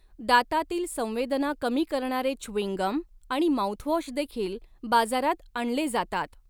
दातातील संवेदना कमी करणारे च्युईंग गम आणि माउथवॉश देखील बाजारात आणले जातात.